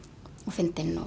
fyndin og